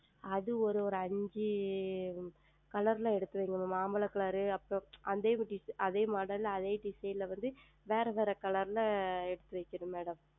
அது ஓர் ஓர் ஐந்து Color ல் எடுத்து வையுங்கள் மாம்பழ Color அப்புறம் அதே Model அதே Design ல வந்து வேறு வேறு Color ல எடுத்து வைக்கனும்